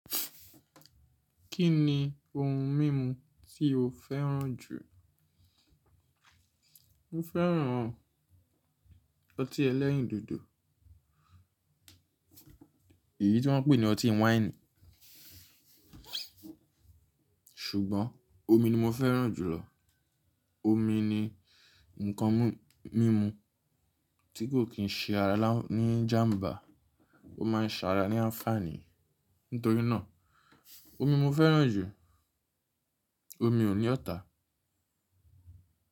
Kí ni ohun mímu tí o fẹ́ràn jù? Mo fẹ́ràn ọtí ẹlẹ́rìndòdò. Èyí tí wọ́n ń pè ní ọtí wáìnì. Ṣùgbọ́n omi ni mo fẹ́ràn jùlọ. Omi ni ǹkan mímu tí kò kín ṣe ara ní ijàmbá, ó máa ń ṣara ní áńfàní. Nítorí náà omi mo fẹ́ràn jù. Omi ò ní ọ̀tá.